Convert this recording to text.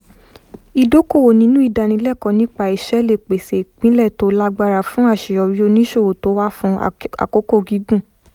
ìdókòwò nínú ìdánilẹ́kọ̀ọ́ nípa iṣẹ́ lè pèsè ìpìlẹ̀ tó lágbára fún àṣeyọrí oníṣòwò tó wà fún àkókò gígùn